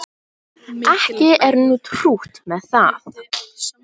Ekki er nú trútt með það